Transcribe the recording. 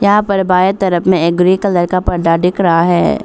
यहां पर बाएं तरफ में एक ग्रे कलर का परदा दिख रहा है।